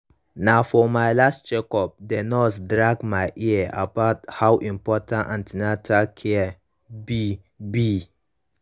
na for my last check up the nurse drag my ear about how important an ten atal care be be